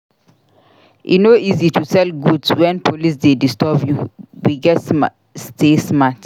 E no easy to sell goods wen police dey disturb you; we gats stay smart.